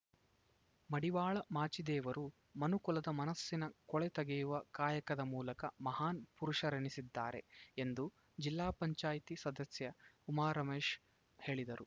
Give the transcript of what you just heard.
ಮಡಿವಾಳ ಮಾಚಿದೇವರು ಮನುಕುಲದ ಮನಸ್ಸಿನ ಕೊಳೆ ತೆಗೆಯುವ ಕಾಯಕದ ಮೂಲಕ ಮಹಾನ್‌ ಪುರುಷರೆನಿಸಿದ್ದಾರೆ ಎಂದು ಜಿಲ್ಲಾ ಪಂಚಾಯಿತಿ ಸದಸ್ಯೆ ಉಮಾರಮೇಶ್‌ ಹೇಳಿದರು